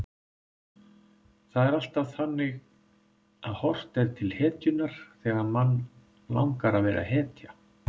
Það er alltaf þannig að horft er til hetjunnar þegar mann langar að vera hetja.